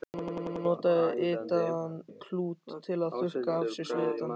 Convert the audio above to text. Hann notaði litaðan klút til að þurrka af sér svitann.